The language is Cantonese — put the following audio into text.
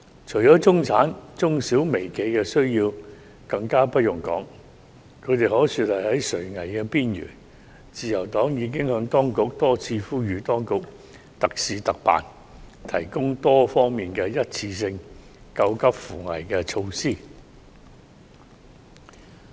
除了中產，中小微企的需要更不用多說，他們可說是在垂危的邊緣，自由黨已多次呼籲當局特事特辦，提供多方面的一次性救急扶危措施。